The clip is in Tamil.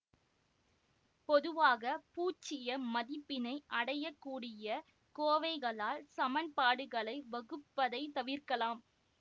பொதுவாக பூச்சிய மதிப்பினை அடைய கூடிய கோவைகளால் சமன்பாடுகளை வகுப்பதைத் தவிர்க்கலாம்